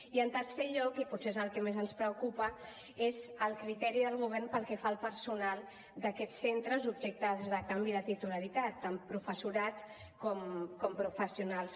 i en tercer lloc i potser és el que més ens preocupa és el criteri del govern pel que fa al personal d’aquests centres objecte de canvi de titularitat tant professorat com professionals